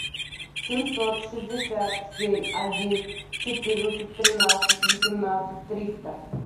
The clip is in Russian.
семьсот шестьдесят семь один четырнадцать тринадцать восемнадцать триста